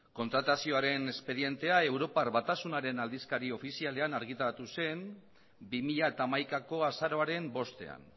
kontratazioaren espedientea europar batasunaren aldizkari ofizialean argitaratu zen bi mila hamaikako azaroaren bostean